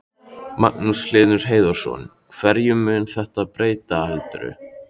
Magnús Hlynur Hreiðarsson: Hverju mun þetta breyta heldurðu?